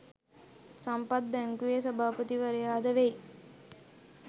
සම්පත් බැංකුවේ සභාපතිවරයාද වෙයි.